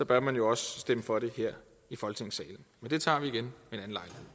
bør man også stemme for det her i folketingssalen men det tager vi igen ved